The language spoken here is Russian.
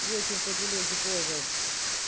вечер по телеге ползал